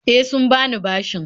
E, sun bani bashin.